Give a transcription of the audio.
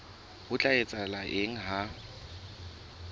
ho tla etsahala eng ha